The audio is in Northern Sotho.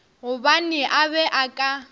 gobane a be a ka